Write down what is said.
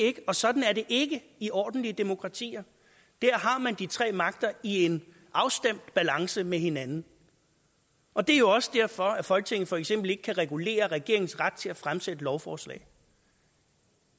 ikke og sådan er det ikke i ordentlige demokratier der har man de tre magter i en afstemt balance med hinanden og det er jo også derfor at folketinget for eksempel ikke kan regulere regeringens ret til at fremsætte lovforslag